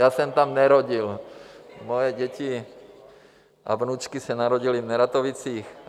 Já jsem tam nerodil, moje děti a vnučky se narodily v Neratovicích.